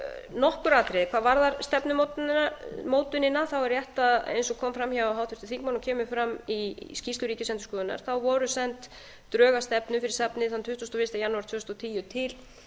nokkur atriði hvað varðar stefnumótunina það er rétt eins og kom fram hjá háttvirtum þingmanni og kemur fram í skýrslu ríkisendurskoðunar þá voru send drög að stefnu fyrir safnið þann tuttugasta og fyrsta janúar tvö þúsund og tíu til